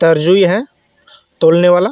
तर्जुई है तोलने वाला.